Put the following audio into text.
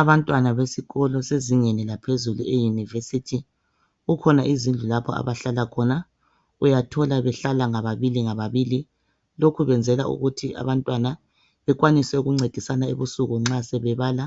Abantwana besikolo sezingeni laphezulu e University .Kukhona izindlu lapho abahlala khona .Uyathola behlala ngababili ngababili. Lokhu kwenzelwa ukuthi abantwana bekwanise ukuncedisana ebusuku nxa sebebala.